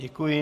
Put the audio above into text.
Děkuji.